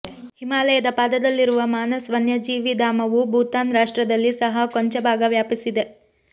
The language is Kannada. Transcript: ಹಿಮಾಲಯದ ಪಾದದಲ್ಲಿರುವ ಮಾನಸ್ ವನ್ಯಜೀವಿ ಧಾಮವು ಭೂತಾನ್ ರಾಷ್ಟ್ರದಲ್ಲಿ ಸಹ ಕೊಂಚ ಭಾಗ ವ್ಯಾಪಿಸಿದೆ